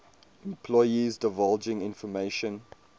employees divulging information